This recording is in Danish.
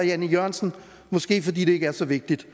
jan e jørgensen måske fordi det ikke er så vigtigt